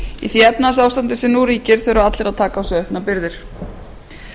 því efnahagsástandi sem nú ríkir þurfa allir að taka á sig auknar byrðar